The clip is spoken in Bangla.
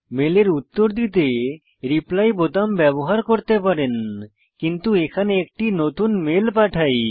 মেলের উত্তর দিতে রিপ্লাই বোতাম ব্যবহার করে পারেন কিন্তু এখানে একটি নতুন মেল পাঠাই